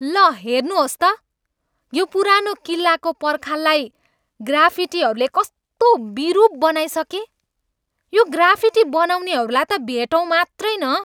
ल हेर्नुहोस् त, यो पुरानो किल्लाको पर्खाललाई ग्राफिटीहरूले कस्तो बिरुप बनाइसके! यो ग्राफिटी बनाउनेहरूलाई त भेटौँ मात्रै न!